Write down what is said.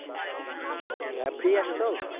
Free আছো তো?